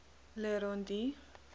le rond d